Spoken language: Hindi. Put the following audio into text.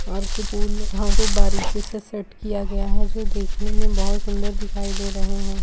और कुछ को बारीके से सेट किया गया है जो देखने में बहोत सुंदर दिखाई दे रहे हैं।